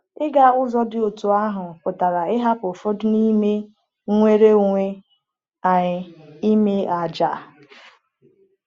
Ịga ụzọ dị otú ahụ pụtara ịhapụ ụfọdụ n’ime nnwere onwe anyị, ime àjà.